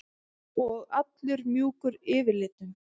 Og allur mjúkur yfirlitum.